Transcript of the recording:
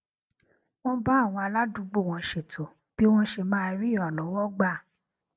wón bá àwọn aládùúgbò wọn ṣètò bí wón ṣe máa rí ìrànlówó gbà